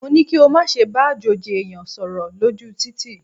Mo ní kí o má ṣe bá àjòjì ẹ̀yàn sọ̀rọ̀ lójú u títì.!